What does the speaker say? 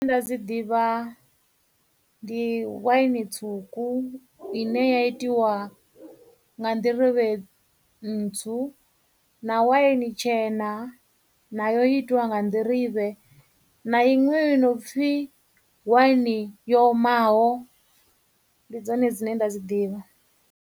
Nda dzi ḓivha ndi wine tswuku ine ya itiwa nga nḓirivhe ntswu, na wine tshena nayo i itiwa nga nḓirivhe, na iṅwe yo no pfhi wine yo omaho, ndi dzone dzine nda dzi ḓivha.